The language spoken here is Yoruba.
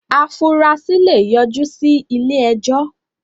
afurasí lè yọ jú sí ilé-ẹjọ́.